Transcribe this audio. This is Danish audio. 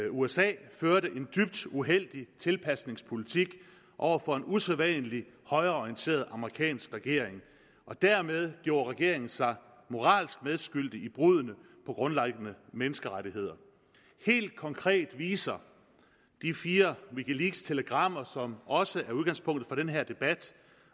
usa førte en dybt uheldig tilpasningspolitik over for en usædvanlig højreorienteret amerikansk regering dermed gjorde regeringen sig moralsk medskyldig i bruddene på grundlæggende menneskerettigheder helt konkret viser de fire wikileakstelegrammer som også er udgangspunktet for den her debat